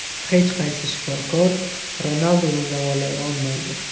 Hech qaysi shifokor Ronalduni davolay olmaydi”.